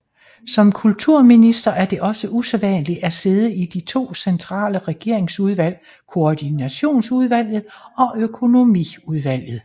Som kulturminister er det også usædvanligt at sidde i de to centrale regeringsudvalg Koordinationsudvalget og Økonomiudvalget